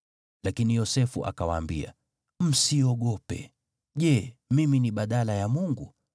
Lakini Yosefu akawaambia, “Msiogope. Je, mimi ni badala ya Mungu?